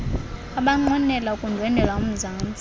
abanqwenela ukundwendwela umzantsi